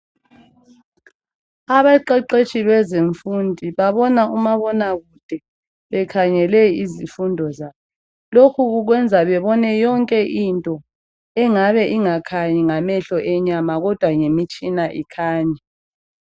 Abaqeqetshi kwezemfundi babona umabanakude bekhangele izifundo zabo. Lokhu kwenza babone yonke into engabe ingakhanyi ngamehlo enyama kodwa ngemitshina ikhanya.